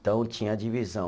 Então, tinha divisão.